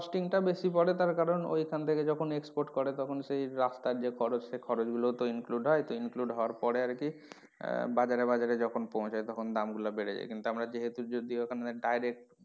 Costing টা বেশি পড়ে কারন ওইখান থেকে যখন export করে তখন সেই রাস্তার যে খরচ সেই খরচ গুলো include হয় তো include হওয়ার পরে আরকি আহ বাজারে বাজারে যখন পৌছায় তখন দাম গুলো বেড়ে যায় কিন্তু আমরা যেহেতু যদিও ওখানে direct